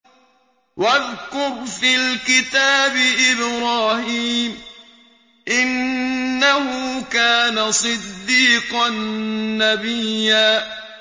وَاذْكُرْ فِي الْكِتَابِ إِبْرَاهِيمَ ۚ إِنَّهُ كَانَ صِدِّيقًا نَّبِيًّا